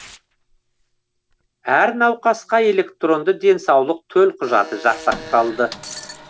әр науқасқа электронды денсаулық төлқұжаты жасақталды